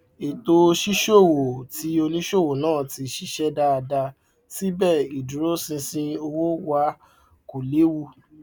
ètò ṣíṣòwò ti onísòwò náà ti ṣiṣẹ dáadáa síbẹ ìdúróṣinṣin owó wà kò lewu